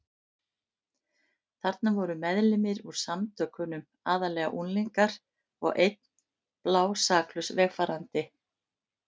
Þarna voru meðlimir úr Samtökunum, aðallega unglingar, og einn blásaklaus vegfarandi.